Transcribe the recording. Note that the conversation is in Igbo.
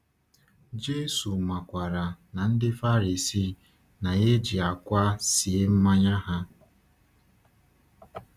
Jésù makwaara na ndị Farisii na-eji akwa sie mmanya ha.